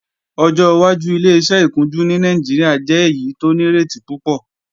Ọjọ́ wájú Ileṣẹ́ ìkunjú ní Nàìjíríà jẹ́ èyí tó nírètí púpọ̀